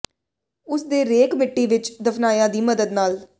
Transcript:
ਉਸ ਦੇ ਰੇਕ ਮਿੱਟੀ ਵਿੱਚ ਦਫ਼ਨਾਇਆ ਦੀ ਮਦਦ ਨਾਲ